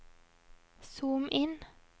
zoom inn